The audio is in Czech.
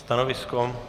Stanovisko?